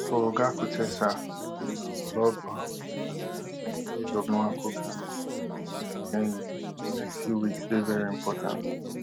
for oga kotesa wey bin um love um arsenal since di days of nwankwo kanu and thierry henry di next few weeks dey very important